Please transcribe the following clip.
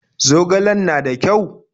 Zogalen na da ƙyau?